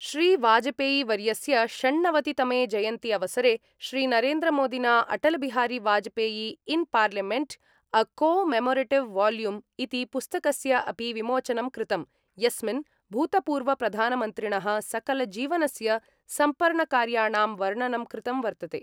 श्रीवाजपेयीवर्यस्य षण्णवतितमे जयन्ती अवसरे श्रीनरेन्द्रमोदिना Atal Bihari Vajpayee in parliament: a commemorative volume ' इति पुस्तकस्य अपि विमोचनं कृतम्, यस्मिन् भूतपूर्वप्रधानमन्त्रिण: सकलजीवनस्य सम्पर्णकार्याणां वर्णनं कृतं वर्तते।